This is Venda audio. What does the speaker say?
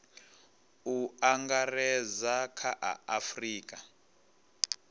u angaredza kha a afurika